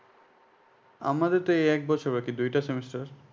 আমাদের তো এই এক বছর বাকি দুইটা semester